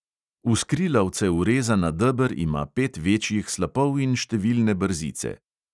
V skrilavce urezana deber ima pet večjih slapov in številne brzice.